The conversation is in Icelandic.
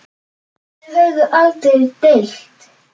Þau höfðu aldrei deilt.